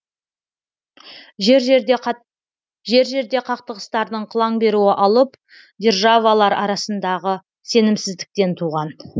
жер жерде қақтығыстардың қылаң беруі алып державалар арасындағы сенімсіздіктен туған